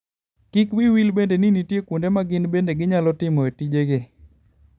Kik wiyi wil bende ni nitie kuonde ma gin bende ginyalo timoe tijegi.